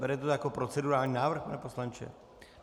Berete to jako procedurální návrh, pane poslanče?